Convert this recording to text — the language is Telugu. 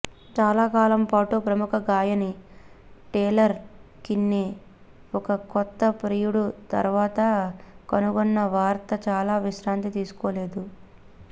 చాలాకాలం పాటు ప్రముఖ గాయని టేలర్ కిన్నే ఒక కొత్త ప్రియుడు తర్వాత కనుగొన్న వార్త చాలా విశ్రాంతి తీసుకోలేదు